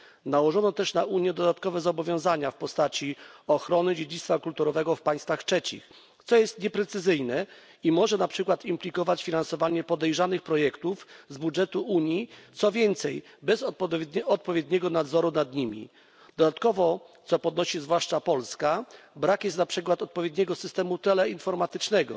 Nałożono też na Unię dodatkowe zobowiązania w postaci ochrony dziedzictwa kulturowego w państwach trzecich, co jest nieprecyzyjne i może na przykład implikować finansowanie podejrzanych projektów z budżetu Unii, co więcej bez odpowiedniego nadzoru nad nimi. Dodatkowo, co podnosi zwłaszcza Polska, brak jest na przykład odpowiedniego systemu teleinformatycznego